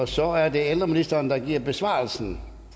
så er det ældreministeren der giver besvarelsen